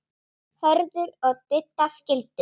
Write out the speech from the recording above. Hörður og Didda skildu.